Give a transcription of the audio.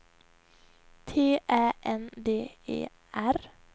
T Ä N D E R